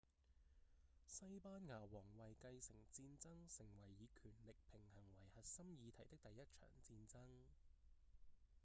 西班牙王位繼承戰爭成為以權力平衡為核心議題的第一場戰爭